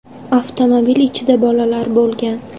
Avtomobil ichida bolalar bo‘lgan.